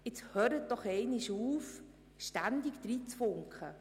Jetzt hören Sie doch endlich damit auf, ständig hineinzufunken!